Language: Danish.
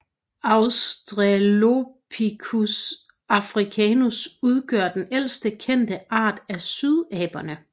Australopithecus africanus udgør den ældste kendte art af sydaberne